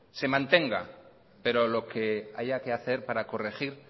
se mantenga pero lo que haya que hacer para corregir